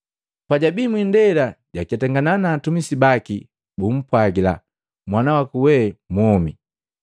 Pajwabii mwindela jaketangana na atumisi baki bumpwajila, “Mwanawaku we mwomi!”